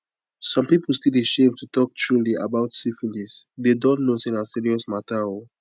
some people still dey shame to talk truely a bout syphilisthey dont know say na serious matter oo